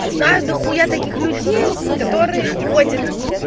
я знаю дохуя таких людей которые ходят